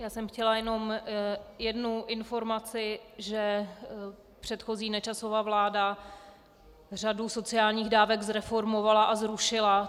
Já jsem chtěla jenom jednu informaci, že předchozí Nečasova vláda řadu sociálních dávek zreformovala a zrušila.